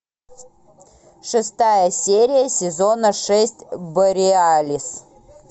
шестая серия сезона шесть бореалис